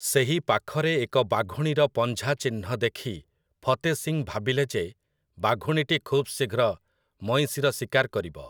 ସେହି ପାଖରେ ଏକ ବାଘୁଣୀର ପଞ୍ଝାଚିହ୍ନ ଦେଖି ଫତେ ସିଂ ଭାବିଲେ ଯେ ବାଘୁଣୀଟି ଖୁବ୍ ଶୀଘ୍ର ମଇଁଷିର ଶିକାର କରିବ ।